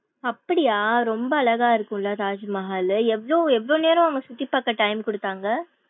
அப்படியா ரொம்ப அழகா இருக்கும்ல தாஜ்மஹால்லு. எவ்ளோ எவ்ளோ நேரம் சுத்தி பாக்க time குடுத்தாங்க.